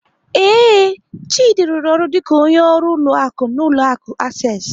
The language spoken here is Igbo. Ee, Chidi rụrụ ọrụ dịka onye ọrụ ụlọ akụ n'ụlọ akụ Access.